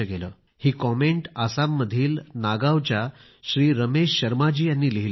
ही comment आसाममधील नागावच्या रमेश शर्माजी यांनी लिहिली होती